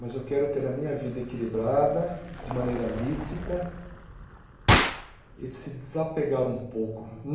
mas eu quero ter a minha vida equilibrada, de maneira lícita e se desapegar um pouco.